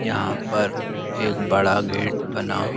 यहाँ पर एक बड़ा गेट बना --